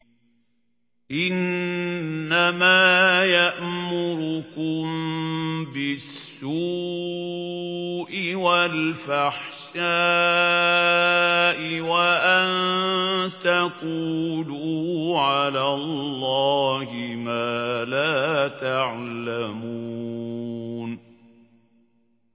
إِنَّمَا يَأْمُرُكُم بِالسُّوءِ وَالْفَحْشَاءِ وَأَن تَقُولُوا عَلَى اللَّهِ مَا لَا تَعْلَمُونَ